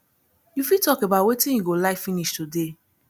you fit talk about wetin you go like finish today